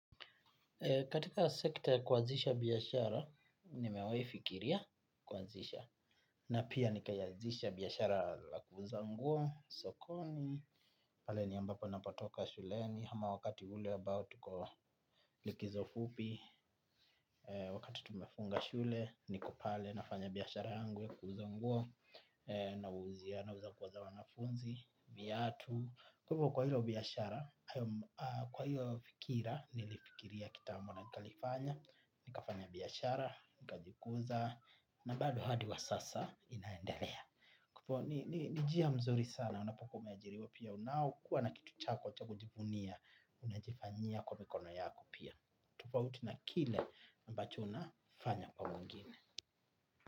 Katika sekta ya kuanzisha biashara, ni mewahi fikiria kuazisha. Na pia ni kaianzisha biashara la kuuza nguo, sokoni, pale ni ambapo napatoka shuleni. Hama wakati ule abao tuko likizo fupi. Wakati tumefunga shule, nikopale nafanya biashara yangu ya kuuza nguo, na wauzia, na uza kwanza wanafunzi, viatu. Kwa hilo biashara, kwa hio fikira, nilifikiria kitambo na nikalifanya. Nikafanya biashara, nika jikuza, na bado hadi wa sasa inaendelea. Kupo, nijia mzuri sana, unapokuwa umeajiriwa pia unao, kuwa na kitu chako chakujivunia, unajifanyia kwa mikono yako pia. Tufauti na kile ambacho una fanya kwa mwingine.